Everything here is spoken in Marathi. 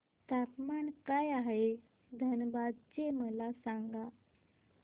तापमान काय आहे धनबाद चे मला सांगा